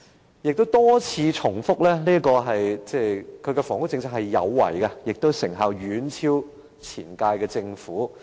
梁振英亦多次重申，他的房屋政策"有為"，而成效亦遠超前屆政府。